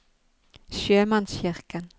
sjømannskirken